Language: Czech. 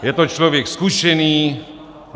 Je to člověk zkušený.